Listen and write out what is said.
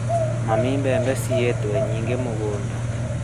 Mami mbembe ciyĩtwo nyingĩ mũgũnda